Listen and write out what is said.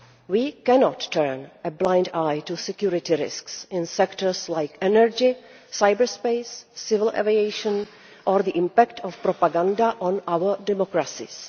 We cannot turn a blind eye to security risks in sectors like energy, cyber space, civil aviation or the impact of propaganda on our democracies.